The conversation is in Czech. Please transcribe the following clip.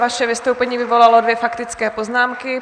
Vaše vystoupení vyvolalo dvě faktické poznámky.